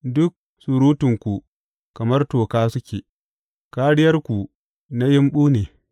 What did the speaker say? Duk surutanku kamar toka suke; kāriyarku na yimɓu ne.